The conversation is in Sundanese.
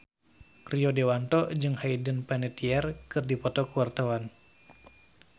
Rio Dewanto jeung Hayden Panettiere keur dipoto ku wartawan